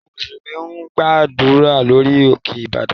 Àwọn Mùsùlùmí ń gbàdúrà lórí òkè Ìbàdàn